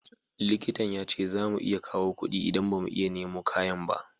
Likitan ya ce za mu iya kawo kudi idan ba mu iya nemo kayan ba